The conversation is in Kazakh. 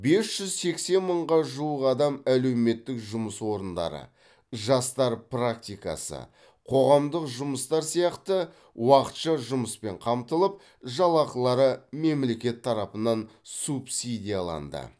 бес жүз сексен мыңға жуық адам әлеуметтік жұмыс орындары жастар практикасы қоғамдық жұмыстар сияқты уақытша жұмыспен қамтылып жалақылары мемлекет тарапынан субсидияланды